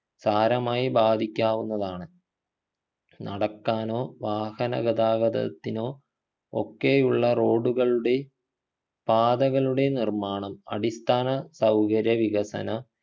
സാരമായി ബാധിക്കാവുന്നതാണ് നടക്കാനോ വാഹന ഗതാഗതത്തിനോ ഒക്കെയുള്ള റോഡുകളുടെ പാതകളുടെ നിർമാണം അടിസ്ഥാന സൗകര്യ വികസന